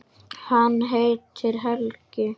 Hann heitir Helgi.